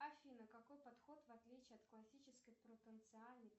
афина какой подход в отличии от классического